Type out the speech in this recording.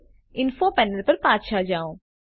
હવે info panel પર પાછા જાઓ